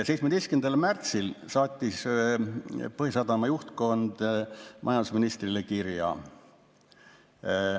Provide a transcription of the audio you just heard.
17. märtsil saatis Põhjasadama juhtkond majandusministrile kirja.